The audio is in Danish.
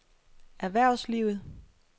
erhvervslivet